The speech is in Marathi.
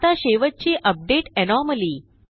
आता शेवटची अपडेट एनोमली